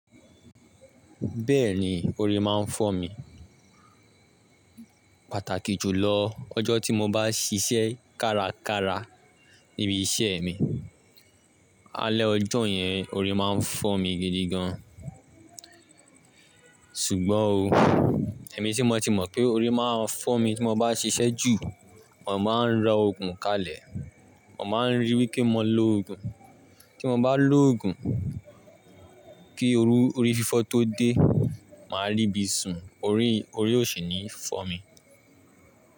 Bẹ́ẹ̀ni, orí máa ń fọ́ mi. Pàtàkì jùlọ, ọjọ́ tí mo bá ṣiṣẹ́ kárakára níbi iṣẹ́ mi, alẹ́ ọjọ́ yẹn orí máa ń fọ́ mi gidi gan. Ṣùgbọ́n ò èmi tí mo ti mọ̀ pé orí máa ń fọ́ mi tí mo bá ṣiṣẹ́ jù, mò máa ń ra òògùn kalẹ̀. Mo máa ń ri wí pé mọ ló òògùn, tí mo bá lo òògùn kí orú- orí fífọ́ tó dé, màá rí bí sùn orí- orí òsìní fọ́ mi.